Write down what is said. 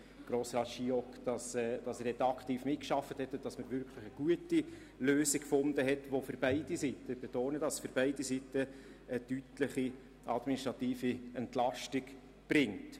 Ich danke auch Grossrat Giauque für seine aktive Mitarbeit und dass man wirklich eine gute Lösung gefunden hat, die für beide Seiten eine deutliche administrative Entlastung bringt.